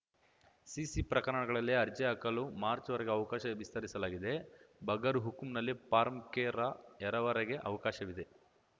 CC ಪ್ರಕರಣಗಳಲ್ಲಿ ಅರ್ಜಿ ಹಾಕಲು ಮಾರ್ಚ್ರವರೆಗೆ ಅವಕಾಶ ವಿಸ್ತರಿಸಲಾಗಿದೆ ಬಗರ್‍ಹುಕುಂನಲ್ಲಿ ಫಾರ್ಮ್ ಕ್ಕೆ ರ ಎರವರೆಗೆ ಅವಕಾಶವಿದೆ